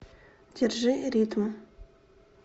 держи ритм